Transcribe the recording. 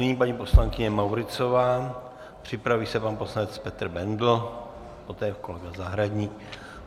Nyní paní poslankyně Mauritzová, připraví se pan poslanec Petr Bendl, poté kolega Zahradník.